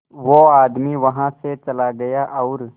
वो आदमी वहां से चला गया और